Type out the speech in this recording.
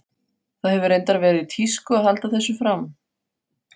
Það hefur reyndar verið í tísku að halda þessu fram.